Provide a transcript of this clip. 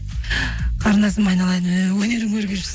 қарындасым айналайын өнерің өрге жүзсін